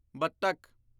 ਬਤਖ਼